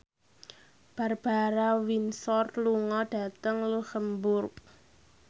Barbara Windsor lunga dhateng luxemburg